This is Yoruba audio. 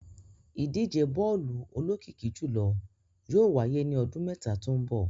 Idije bọọlu olokiki julọ yóò waye ni ọdun mẹta to nbọ